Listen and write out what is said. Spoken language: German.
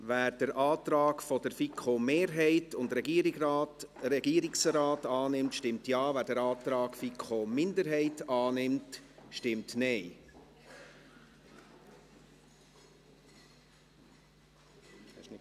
Wer den Antrag der FiKoMehrheit und des Regierungsrates annimmt, stimmt Ja, wer den Antrag der FiKo-Minderheit annimmt, stimmt Nein.